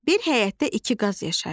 Bir həyətdə iki qaz yaşayırdı.